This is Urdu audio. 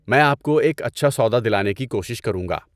میں آپ کو ایک اچھا سودا دلانے کی کوشش کروں گا۔